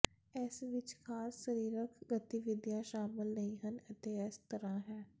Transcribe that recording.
ਇਸ ਵਿੱਚ ਖਾਸ ਸਰੀਰਕ ਗਤੀਵਿਧੀਆਂ ਸ਼ਾਮਲ ਨਹੀਂ ਹਨ ਅਤੇ ਇਸ ਤਰਾਂ ਹੈ